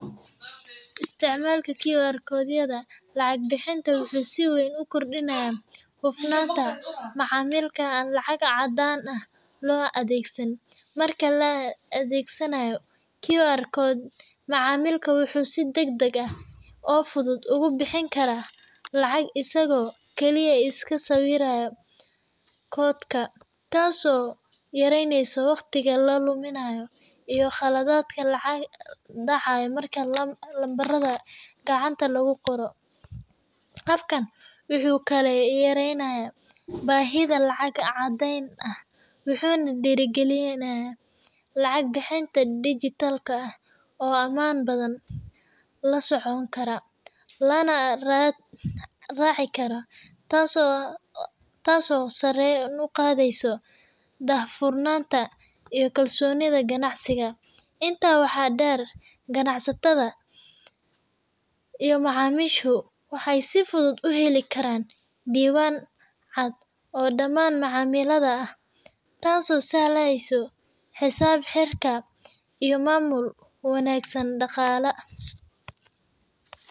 Isticmalka kiwa koy yada lacag bixinta waxu si weeyn uku kordinya hooftanta macamlika lacaga cadanga lo adegsan marka la adegsanayo kiwarkot macamilka waxy si degdeg aah oo futhut ugu bixin karah lacag isogo Kali iska siweerayo kootka taaso yareyneyoh waqdika laduminayo iyo qkaladadka lacagaha lalabaxato marka numbarada kacanta lagu Qooroh kabkan waxkali yareynaya bahiga lacag cadeyn ah , waxuna derikalinaya lacag bixinta digital ah oo aman bathan lasoconkara Lana raci karoh taaso sareyovi uqatheysoh dahfurnanta iyo kalsoni kanacsitha inta waxa deer kanacsatatha iyo macamisho waxa si futhut u heli karan Diwan caad oo dhaman macamliadha aah taaso sahleysoh xesabbxeerka iyo mamul wanagsan daqhala.